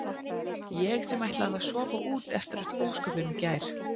Ég sem ætlaði að sofa út eftir öll ósköpin í gær.